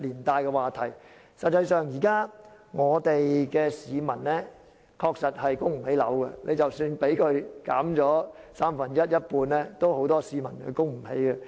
事實上，現在香港市民確實供不起樓，即使樓價下跌三分之一或一半，仍有很多市民供不起樓。